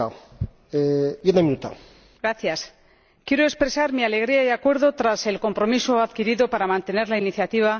Quiero expresar mi alegría y acuerdo tras el compromiso adquirido para mantener la iniciativa, a pesar de los problemas que crea el Consejo.